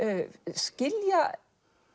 skilja